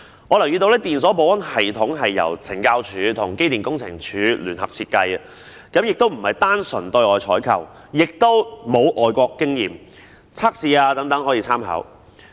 我留意到，電鎖保安系統是由懲教署和機電工程署聯合設計的，不是單純對外採購，也沒有外國經驗和測試等可供參考。